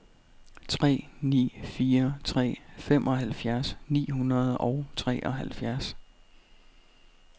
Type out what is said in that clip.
tre ni fire tre femoghalvfjerds ni hundrede og treoghalvfjerds